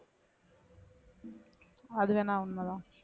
அதுவேணா உண்மைதான்